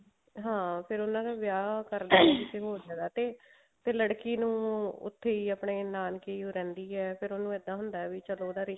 ਹਾਂ ਫ਼ੇਰ ਉਹਨਾ ਦਾ ਵਿਆਹ ਕਰਦੇ ਨੇ ਕਿਸੇ ਹੋਰ ਜਗ੍ਹਾ ਤੇ ਫ਼ੇਰ ਲੜਕੀ ਨੂੰ ਉੱਥੇ ਹੀ ਆਪਣੇ ਨਾਨਕੇ ਹੀ ਰਹਿੰਦੀ ਹੈ ਫ਼ੇਰ ਉਹਨੂੰ ਇਦਾਂ ਹੁੰਦਾ ਵੀ ਚਲੋ